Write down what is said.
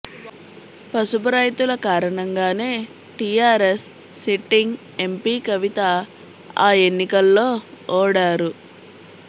పసుపు రైతుల కారణంగానే టీఆర్ఎస్ సిట్టింగ్ ఎంపీ కవిత ఆ ఎన్నికల్లో ఓడారు